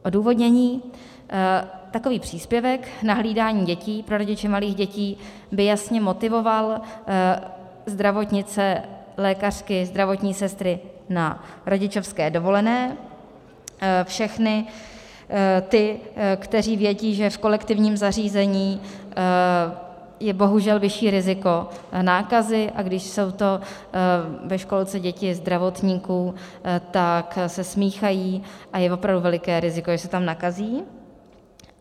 Odůvodnění: Takový příspěvek na hlídání dětí pro rodiče malých dětí by jasně motivoval zdravotnice, lékařky, zdravotní sestry na rodičovské dovolené, všechny ty, kteří vědí, že v kolektivním zařízení je bohužel vyšší riziko nákazy, a když jsou to ve školce děti zdravotníků, tak se smíchají a je opravdu veliké riziko, že se tam nakazí.